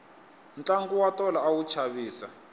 tlangu wa tolo a wu chavisa